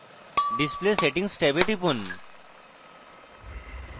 display settings ট্যাবে টিপুন